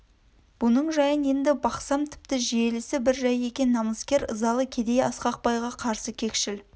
бұның жайын енді бақсам тіпті желісі бір жай екен намыскер ызалы кедей асқақ байға қарсы кекшіл